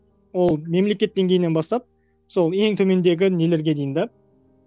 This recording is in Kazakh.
ол мемлекет деңгейінен бастап сол ең төмендегі нелерге дейін де